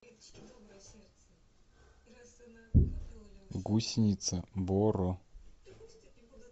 гусеница боро